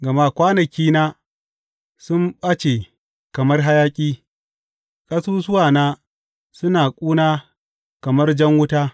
Gama kwanakina sun ɓace kamar hayaƙi; ƙasusuwana suna ƙuna kamar jan wuta.